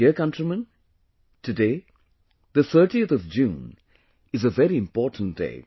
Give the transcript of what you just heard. My dear countrymen, today, the 30th of June is a very important day